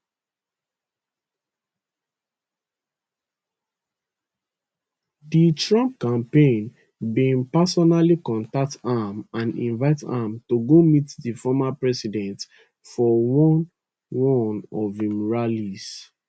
di trump campaign bin personally contact am and invite am to go meet di former president for one one of im rallies